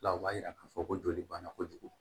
La o b'a yira k'a fɔ ko joli banna kojugu